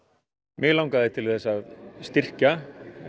mig langaði til þess að styrkja